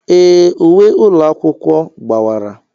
Ee, uwe ụlọ akwụkwọ gbawara.